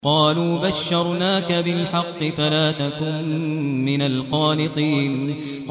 قَالُوا بَشَّرْنَاكَ بِالْحَقِّ فَلَا تَكُن مِّنَ الْقَانِطِينَ